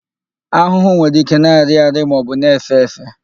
Ahụhụ nwere ike na-arị arị maọbụ na-èfé èfé.